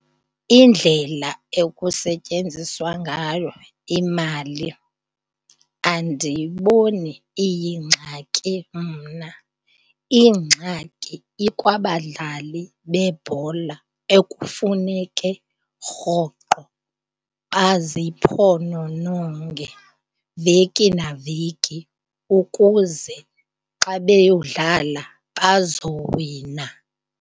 Indlela ekusetyenziswa ngayo imali andiyiboni iyingxaki mna. Ingxaki ikwabadlali bebhola ekufuneke rhoqo baziphonononge veki naveki ukuze xa beyodlala bazowina.